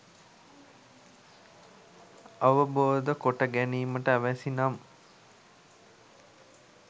අවබෝධ කොටගැනීමට අවැසි නම්